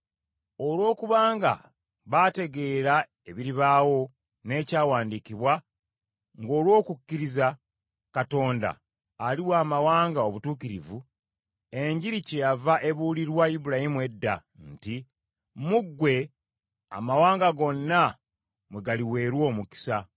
Olw’okuba nga baategeera ebiribaawo n’ekyawandiikibwa, ng’olw’okukkiriza, Katonda aliwa amawanga obutuukirivu, Enjiri kyeyava ebuulirwa Ibulayimu edda nti, “Mu ggwe amawanga gonna mwe galiweerwa omukisa.”